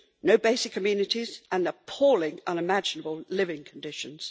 no basic amenities, and appalling unimaginable living conditions.